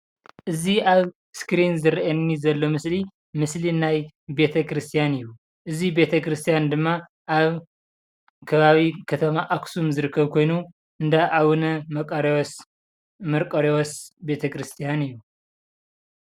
እዚ ኣብ እስክሪን ዝርኣየኒ ዘሎ ምስሊ ምስሊ ናይ ቤተክርስትያን እዩ፡፡ እዚ ቤተክርስትያን ድማ ኣብ ከባቢ ከተማ ኣክሱም ዝርከብ ኮይኑ እንዳ ኣቡነ መንቀሪዎስ ቤተክርስትያን እዩ፡፡